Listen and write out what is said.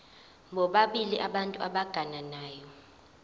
bobabili abantu abagananayo